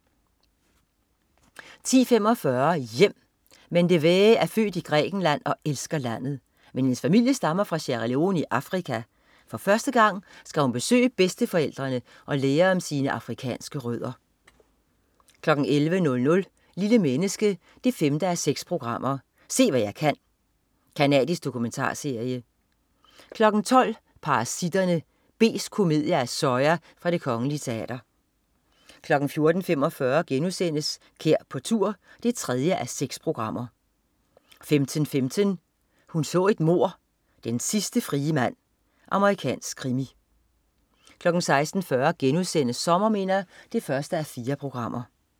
10.45 Hjem! Mendevee er født i Grækenland og elsker landet. Men hendes familie stammer fra Sierra Leone i Afrika. For første gang skal hun besøge bedsteforældrene og lære om sine afrikanske rødder 11.00 Lille menneske 5:6. Se hvad jeg kan. Canadisk dokumentarserie 12.00 Parasitterne. Besk komedie af Soya fra Det Kongelige Teater 14.45 Kær på tur 3:6* 15.15 Hun så et mord: Den sidste frie mand. Amerikansk krimi 16.40 Sommerminder 1:4*